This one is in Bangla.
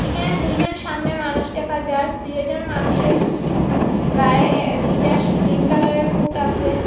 এখানে দুইজন সামনে মানুষ ডেখা যার দুইওজন মানুষের স গায়ে এ এ দুইটা স গ্রীন কালারের কুট আসে।